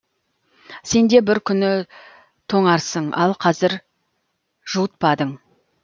сенде бір күні тоңарсың ал қазір жуытпадың